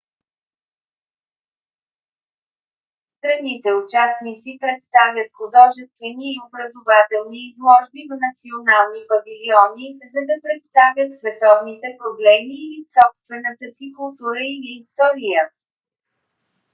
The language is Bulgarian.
страните-участници представят художествени и образователни изложби в национални павилиони за да представят световните проблеми или собствената си култура или история